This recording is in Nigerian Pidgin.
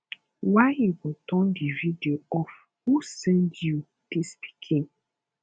why you go turn the radio off who send you dis pikin